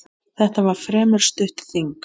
Þetta var fremur stutt þing.